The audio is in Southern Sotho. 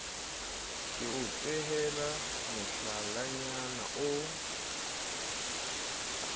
ke o tehele mohlalanyana o